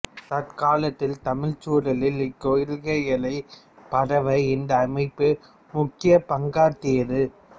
தற்காலத்தில் தமிழ்ச் சூழலில் இக் கொள்கைகள் பரவ இந்த அமைப்பு முக்கிய பங்காற்றியது